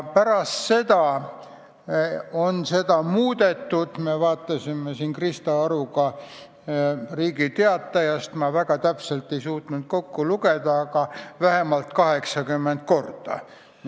Pärast seda on seda muudetud vähemalt 90 korda.